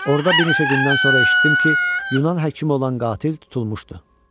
Orda bir neçə gündən sonra eşitdim ki, Yunan həkimi olan Qatil tutulmuşdu.